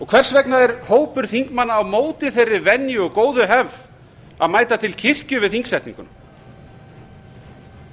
hvers vegna er hópur þingmanna á móti þeirri venju og góðu hefð að mæta til kirkju við þingsetninguna